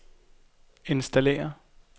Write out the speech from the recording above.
installere